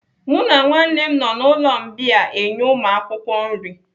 Mụ na nwanne m nọ n'ụlọ mbìa enye ụmụakwụkwọ nri.